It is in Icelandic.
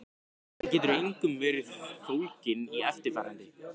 Hann getur einkum verið fólginn í eftirfarandi